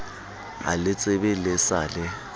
a letsebe le sa le